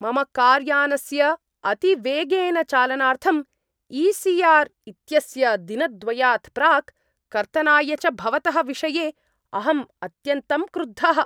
मम कार् यानस्य अतिवेगेन चालनार्थं ई.सी.आर्. इत्यस्य दिनद्वयात् प्राक् कर्तनाय च भवतः विषये अहम् अत्यन्तं क्रुद्धः ।